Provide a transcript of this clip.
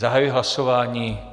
Zahajuji hlasování.